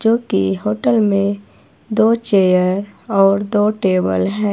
जोकि होटल में दो चेयर और दो टेबल हैं।